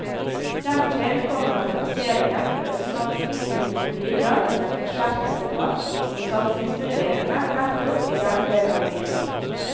Dertil kommer at plasseringen på østkanten vil kunne bidra til en forsterket debatt om satsingsmulighetene nettopp i denne del av byen.